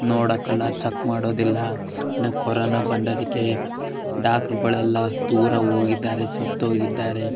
ನೋಡಕ್ ಎಲ್ಲ ಚೆಕ್ ಮಾಡೋದಿಲ್ಲ ನ ಕೊರೊನ ಬಂದಿದಕ್ಕೆ ಡಾಕ್ಟಾರ್ ಗುಳೆಲ್ಲ ದೂರ ಓಗಿದ್ದಾರೆ ಸತ್ತೋಗಿದ್ದಾರೆ. --